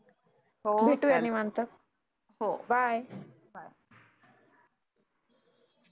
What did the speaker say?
हो चालेल हो बाय